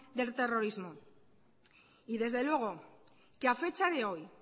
del terrorismo y desde luego que a fecha de hoy